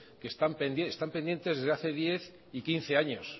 que están pendientes están pendientes desde hace diez y quince años